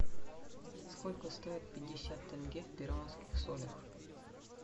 сколько стоит пятьдесят тенге в перуанских солях